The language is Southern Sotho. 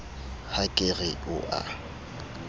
ha ke re o a